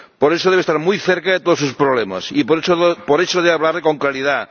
Por eso, debe estar muy cerca de todos sus problemas y, por eso, debe hablar con claridad.